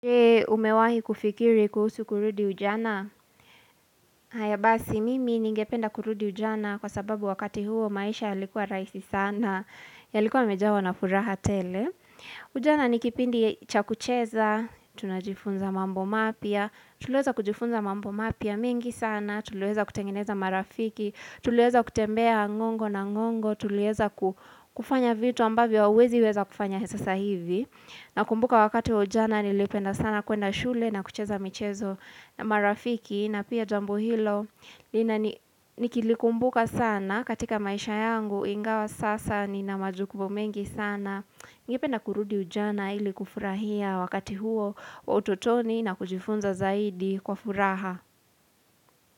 Umewahi kufikiri kuhusu kurudi ujana? Hayabasi, mimi ningependa kurudi ujana kwa sababu wakati huo maisha yalikuwa raisi sana, yalikuwa mejawa na furaha tele. Ujana ni kipindi chakucheza, tunajifunza mambo mapya, tuliweza kujifunza mambo mapya mingi sana, tuliweza kutengeneza marafiki, tuliweza kutembea ngongo na ngongo, tuliweza kufanya vitu ambavyo hauwezi weza kufanya he sasahivi. Na kumbuka wakati wa ujana nilipenda sana kuenda shule na kucheza michezo na marafiki na pia jambo hilo na ni nikilikumbuka sana katika maisha yangu ingawa sasa ni na majukubo mengi sana Ngependa kurudi ujana ili kufurahia wakati huo wa utotoni na kujifunza zaidi kwa furaha.